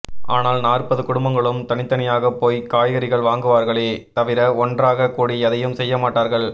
ஆனால் நாற்பது குடும்பங்களும் தனித்தனியாகப் போய்க் காய்கறிகள் வாங்குவார்களே தவிர ஒன்றாகக் கூடி எதையும் செய்யமாட்டார்கள்